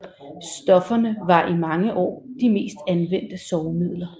Stofferne var i mange år de mest anvendte sovemidler